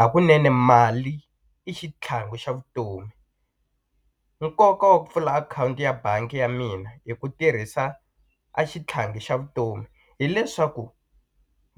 Hakunene mali i xitlhangu xa vutomi nkoka wa ku pfula akhawunti ya bangi ya mina hi ku tirhisa a xitlhangi xa vutomi hileswaku